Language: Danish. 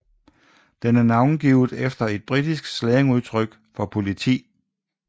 Den er navngivet efter et britisk slangudtryk for politi